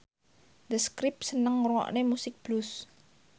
The Script seneng ngrungokne musik blues